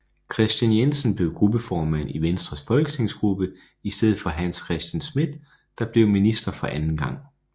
Kristian Jensen blev gruppeformand i Venstres folketingsgruppe i stedet for Hans Christian Schmidt der blev minister for anden gang